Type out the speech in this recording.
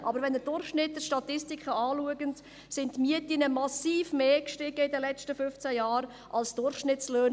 Wenn Sie aber Durchschnitte in Statistiken betrachten, sind die Mieten in den letzten fünfzehn Jahren massiv mehr angestiegen als die Durchschnittslöhne.